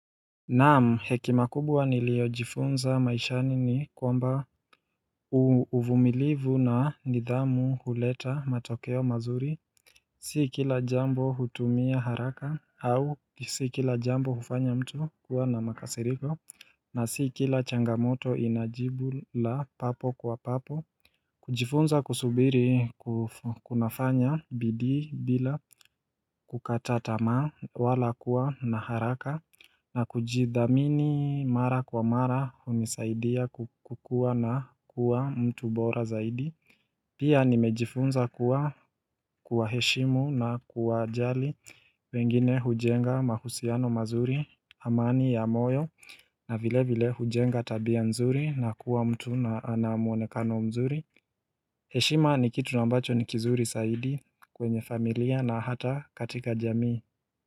Naam hekima kubwa nilio jifunza maishani ni kwamba. Uvumilivu na nidhamu huleta matokeo mazuri. Si kila jambo hutumia haraka au si kila jambo hufanya mtu kuwa na makasiriko na si kila changamoto inajibu la papo kwa papo. Kujifunza kusubiri kunafanya bidii bila. Kukata tamaa wala kuwa na haraka na kujiamini mara kwa mara unisaidia kuwa mtu bora zaidi Pia nimejifunza kuwa heshimu na kuwa jali wengine hujenga mahusiano mazuri amani ya moyo. Na vile vile hujenga tabia nzuri na kuwa mtu ana muonekano mzuri. Heshima ni kitu nambacho ni kizuri zyaidi kwenye familia na hata katika jamii.